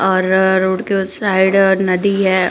और रोड के उस साइड नदी है।